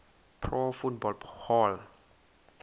pro football hall